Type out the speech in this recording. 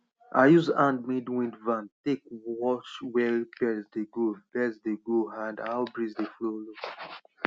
i use handmade wind van take watch where birds dey go birds dey go a d how breeze dey follow